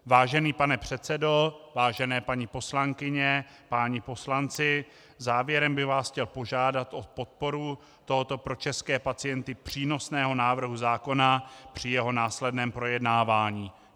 Vážený pane předsedo, vážené paní poslankyně, páni poslanci, závěrem bych vás chtěl požádat o podporu tohoto pro české pacienty přínosného návrhu zákona při jeho následném projednávání.